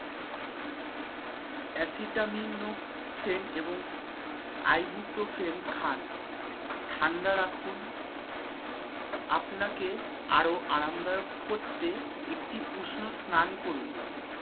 যেমন asytaminophen এবং ibuprofen খান। ঠাণ্ডা রাখুন আপনাকে আরও আরামদায়ক করতে একটি উষ্ণ স্নান করুন